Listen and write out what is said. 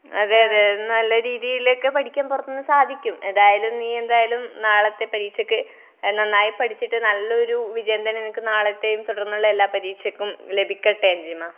അതെയതെ. നല്ല രീതിയിലൊക്കെ പഠിക്കാൻ പുറത്തൂന്ന് സാധിക്കും. എന്തായാലും, നീ എന്തായാലും നാളത്തെ പരീക്ഷയ്ക്ക് നന്നായി പഠിച്ചിട്ട് നല്ലൊരു വിജയം തന്നെ നിനക്ക് നാളത്തേയും എല്ലാ പരീക്ഷയ്ക്കും ലഭിക്കട്ടെ അഞ്ജിമാ.